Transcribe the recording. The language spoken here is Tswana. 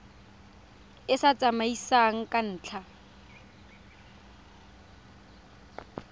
e sa siamang ka ntlha